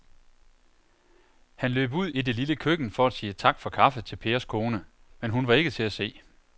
Han løb ud i det lille køkken for at sige tak for kaffe til Pers kone, men hun var ikke til at se.